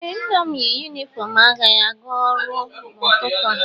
Ee, Nna m yi yunifọm agha ya gaa ọrụ n'ụtụtụ a